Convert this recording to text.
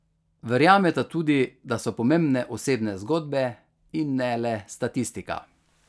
Verjameta tudi, da so pomembne osebne zgodbe in ne le statistika.